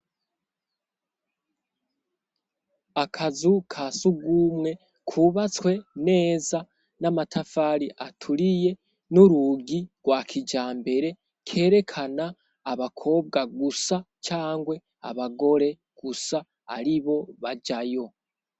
Akazu ka Sugumwe kubatswe neza n'amatafari aturiye n'urugi rwa kijambere, kerekana abakobwa gusa cangwe abagore gusa aribo bajayo.